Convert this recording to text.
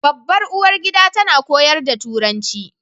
Babbar uwargida tana koyar da Turanci